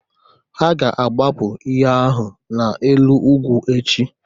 Ha ga-agbapụ ihe ahụ n'elu ugwu echi